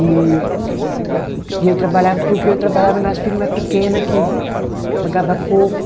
E e eu trabalhava porque eu trabalhava nas firma pequena, que pagava pouco.